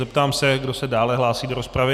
Zeptám se, kdo se dále hlásí do rozpravy.